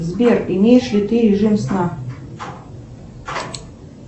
сбер имеешь ли ты режим сна